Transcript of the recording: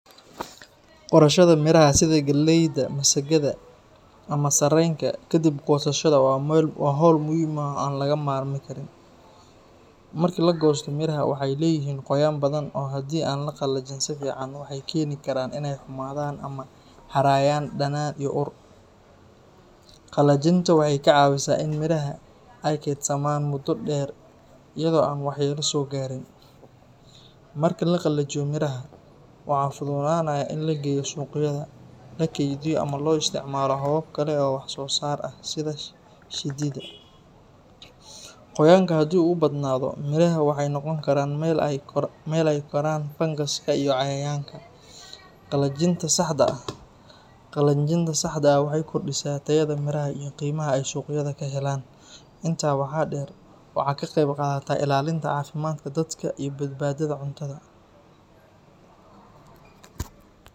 Qorashada miraha sida galleyda, masagada ama sarreenka ka dib goosashada waa hawl muhiim ah oo aan laga maarmi karin. Markii la goosto miraha, waxay leeyihiin qoyaan badan oo haddii aan la qalajin si fiican, waxay keeni karaan in ay xumaadaan ama ay harayaan dhanaan iyo ur. Qalajinta waxay kaa caawinaysaa in miraha ay kaydsamaan muddo dheer iyada oo aan waxyeelo soo gaarin. Marka la qalajiyo miraha, waxaa fududaanaya in la geeyo suuqyada, la kaydiyo ama loo isticmaalo habab kale oo wax-soo-saar ah sida shiididda. Qoyaanka haddii uu badnaado, miraha waxay noqon karaan meel ay ku koraan fangaska iyo cayayaanka. Qalajinta saxda ah waxay kordhisaa tayada miraha iyo qiimaha ay suuqyada ka helaan. Intaa waxaa dheer, waxay ka qayb qaadataa ilaalinta caafimaadka dadka iyo badbaadada cuntada.